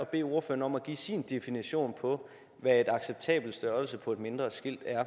bede ordføreren om at give sin definition på hvad en acceptabel størrelse på et mindre skilt er